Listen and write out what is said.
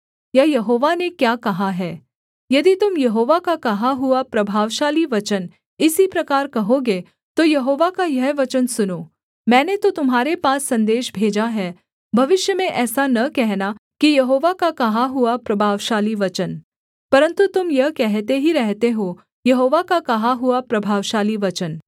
या यहोवा ने क्या कहा है यदि तुम यहोवा का कहा हुआ प्रभावशाली वचन इसी प्रकार कहोगे तो यहोवा का यह वचन सुनो मैंने तो तुम्हारे पास सन्देश भेजा है भविष्य में ऐसा न कहना कि यहोवा का कहा हुआ प्रभावशाली वचन परन्तु तुम यह कहते ही रहते हो यहोवा का कहा हुआ प्रभावशाली वचन